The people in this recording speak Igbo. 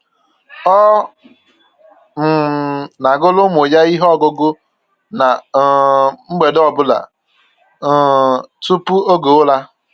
Ọ um na-agụrụ ụmụ ya ihe ọgụgụ ná um mgbede ọ bụla um tupu oge ụra